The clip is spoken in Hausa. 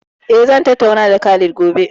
Eh zan tattauna da Khalid Gobe